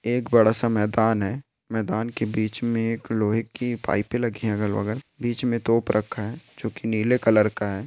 एक बड़ा सा मैदान है मैदान के बिच में लोहे की पाइपे लगी है अगल बगल बिच में तोप रखा है जो की नीले कलर का है।